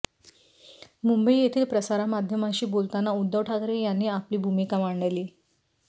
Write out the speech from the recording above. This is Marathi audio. मुंबई येथे प्रसारमाध्यमांशी बोलताना उद्धव ठाकरे यांनी आपली भूमिका मांडली